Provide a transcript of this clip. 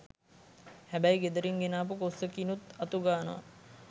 හැබැයි ගෙදරින් ගෙනාපු කොස්සකිනුත් අතුගානව.